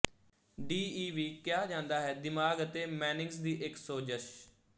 D ਈ ਵੀ ਕਿਹਾ ਜਾਂਦਾ ਹੈ ਦਿਮਾਗ ਅਤੇ ਮੇਨਿੰਗਜ਼ ਦੀ ਇੱਕ ਸੋਜਸ਼